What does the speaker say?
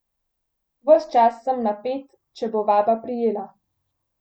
Ves čas sem napet, če bo vaba prijela.